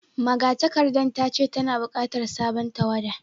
Magatakardar ta ce tana bukatar sabon tawada